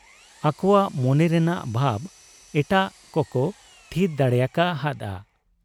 ᱟᱠᱚᱣᱟᱜ ᱢᱚᱱᱮᱨᱮᱱᱟᱜ ᱵᱷᱟᱵᱽ ᱮᱴᱟᱜ ᱠᱚᱠᱚ ᱛᱷᱤᱛ ᱫᱟᱲᱮᱭᱟᱠᱟ ᱦᱟᱫ ᱟ ᱾